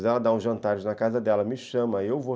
Se ela dá um jantar na casa dela, me chama, eu vou.